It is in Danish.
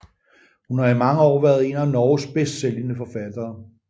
Hun har i mange år været en af Norges bedst sælgende forfattere